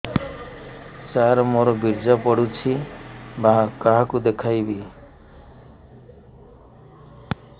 ସାର ମୋର ବୀର୍ଯ୍ୟ ପଢ଼ୁଛି କାହାକୁ ଦେଖେଇବି